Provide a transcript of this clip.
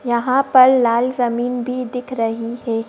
यहां पर लाल जमीन भी दिख रही है।